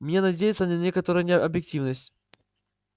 мне надеяться на некоторую объективность